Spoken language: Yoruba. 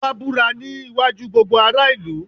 Ọbá búra ní iwájú gbogbo ará ìlú.